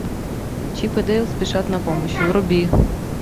чип и дейл спешат на помощь вруби